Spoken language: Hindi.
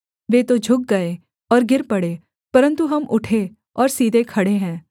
वे तो झुक गए और गिर पड़े परन्तु हम उठे और सीधे खड़े हैं